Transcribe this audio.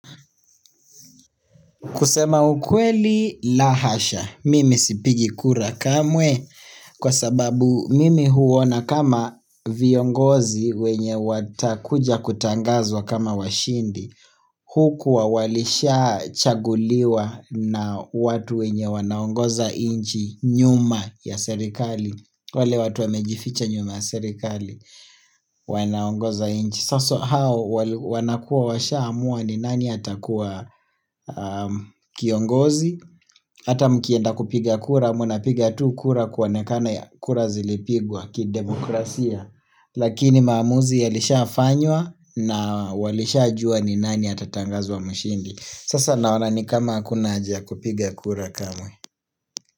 Kusema ukweli la hasha, mimi sipigi kura kamwe kwa sababu mimi huona kama viongozi wenye watakuja kutangazwa kama washindi, hukuwa walishachaguliwa na watu wenye wanaongoza nchi nyuma ya serikali, wale watu wamejificha nyuma ya serikali wanaongoza nchi. Saso hao wanakua washaamua ni nani atakuwa kiongozi Hata mkienda kupiga kura mnapiga tu kura kuonekana ya kura zilipigwa kidemokrasia Lakini maamuzi yalishafanywa na walishajua ni nani atatangazwa mshindi Sasa naona ni kama hakuna haja ya kupiga kura kamwe.